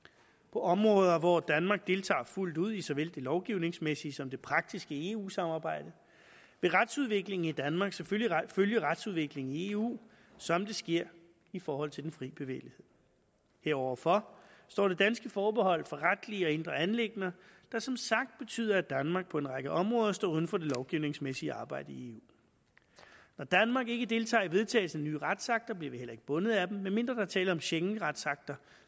på områder hvor danmark deltager fuldt ud i såvel det lovgivningsmæssige som det praktiske i eu samarbejdet vil retsudviklingen i danmark selvfølgelig følge retsudviklingen i eu som det sker i forhold til den fri bevægelighed heroverfor står det danske forbehold for retlige og indre anliggender der som sagt betyder at danmark på en række områder står uden for det lovgivningsmæssige arbejde i eu når danmark ikke deltager i vedtagelsen af nye retsakter bliver vi heller ikke bundet af dem medmindre der er tale om schengenretsakter